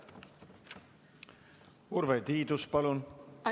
Urve Tiidus, palun!